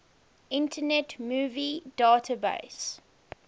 internet movie database